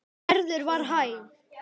En Gerður var hæg.